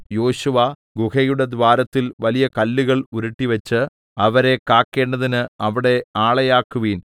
യോശുവ ഗുഹയുടെ ദ്വാരത്തിൽ വലിയ കല്ലുകൾ ഉരുട്ടിവെച്ച് അവരെ കാക്കേണ്ടതിന് അവിടെ ആളെയാക്കുവീൻ